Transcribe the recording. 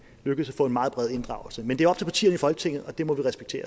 lykkes at få en meget bred inddragelse men det er op til partierne i folketinget og det må vi respektere